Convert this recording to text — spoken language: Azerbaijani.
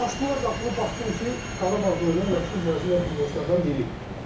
Açdılar qapını, baxdım ki, Qarabağda oynayan məşhur Braziliyalı futbolçulardan biri.